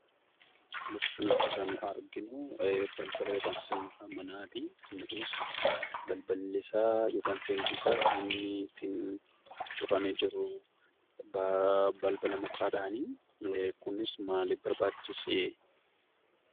Bakka kanatti kan arginuu balbala yookaan seensa manaatii. Manni kunis balballi isaa yookaan seensi isaa kan inni ittiin cufamee jiruu balbala mukaadhaanii. Kunis maalif barbaachisee?